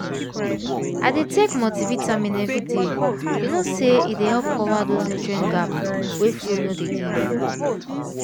i dey take multivitamin every day you know say e dey help cover those nutrient gap wey food no dey give